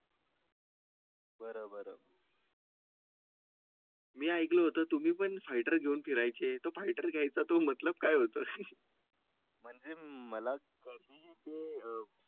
बरं बरं . मी ऐकलं होतं तुम्ही पण फायटर घेऊन फिरायचे. तो फायटर घ्यायचा तो मतलब काय होतं? मध्ये मला कळते.